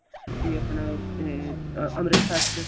ਵੀ ਆਪਣਾ ah ਅਮ੍ਰਿਤਸਰ ਚ